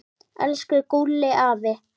Elsku Gúlli afi.